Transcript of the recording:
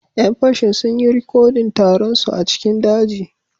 Yan fashin sun yi rikodin taron su a cikin daji